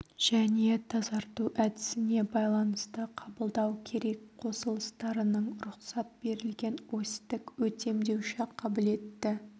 және тазарту әдісіне байланысты қабылдау керек қосылыстарының рұқсат берілген осьтік өтемдеуші қабілеті